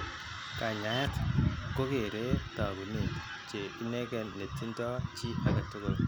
Kanyaayet kogeere taakunet che inegen netindo chii age tugul